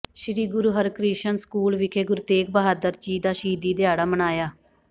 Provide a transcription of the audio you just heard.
ਸ੍ਰੀ Guru Harkrishan school ਵਿਖੇ ਗੁਰੂ ਤੇਗ਼ ਬਹਾਦਰ ਜੀ ਦਾ ਸ਼ਹੀਦੀ ਦਿਹਾੜਾ ਮਨਾਇਆ